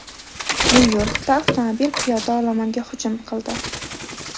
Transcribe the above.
Nyu-Yorkda avtomobil piyoda olomonga hujum qildi.